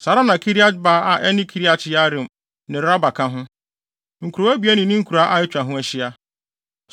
Saa ara na Kiriat-Baal (a ɛne Kiriat-Yearim) ne Raba ka ho, nkurow abien ne ne nkuraa a atwa ho ahyia.